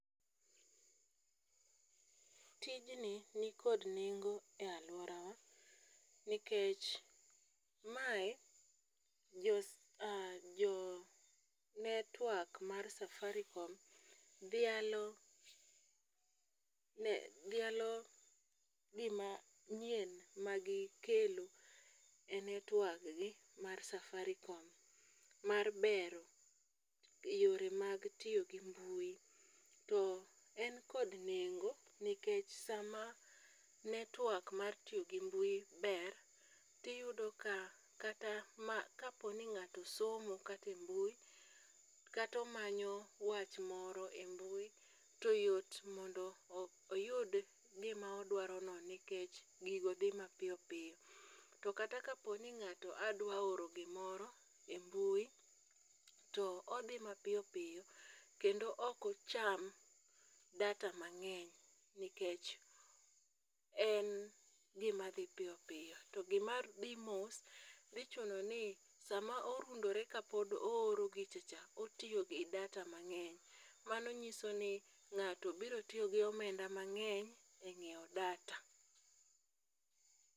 tijni nikod nengo e alworawa nikech mae jo network mar safaricom dhialo gima nyien magikelo e netwaggi mar safaricom mar bero yore mag tiyo gi mbui, to en kod nengo nikech sama network mar tiyo gi mbui ber, tiyudo ka kata kaponi ng'ato somo kata e mbui kata omanyo wach moro e mbui, to yot mondo oyud gima odwarono nikech gigo dhi mapiyo piyo, to kata kapo ni ng'ato adwa oro gimoro e mbui, to odhi mapiyo piyo kendo ok ocham data mang'eny nikech en gima dhi piyo piyo. To gimadhi mos, dhi chuno ni sama orundore kapod ooro gichacha, otiyo gi data mang'eny, Mano nyiso ni ng'ato biro tiyo gi omenda mang'eny e ng'iewo data.